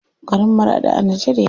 Garin Maraɗi a Nijar yake.